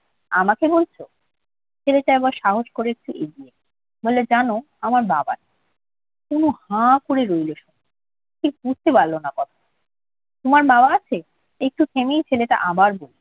আমাকে বলছ? ছেলেটা এবার সাহস করে একটু এগিয়ে এলো। বলল, জান আমার বাবা নেই। তনু হা করে রইল শুনে। ঠিক বুঝতে পারল না কথাটা। তোমার বাবা আছে? একটু থেমেই ছেলেটা আবার বলল,